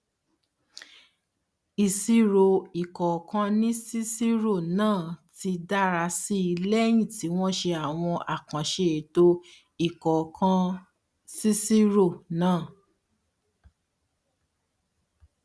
ìṣirò ìkónǹkansíiṣirò náà ti dára sí i lẹyìn tí wọn ṣe àwọn àkànṣe ètò ìkónǹkansíiṣirò náà